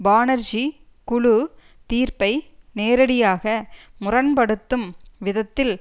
பானெர்ஜி குழு தீர்ப்பை நேரடியாக முரண்படுத்தும் விதத்தில்